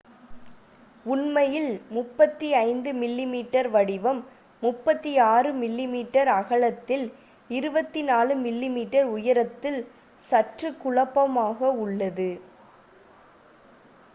உண்மையில் 35 mm வடிவம் 36 mm அகலத்தில் 24 mm உயரத்தில் சற்று குழப்பமாக உள்ளது